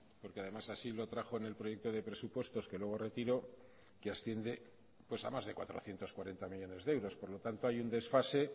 porque además así lo trajo en el proyecto de presupuestos que luego retiró que asciende pues a más de cuatrocientos cuarenta millónes de euros por lo tanto hay un desfase